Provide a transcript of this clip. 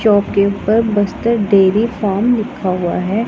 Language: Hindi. डेयरी फार्म लिखा हुआ है।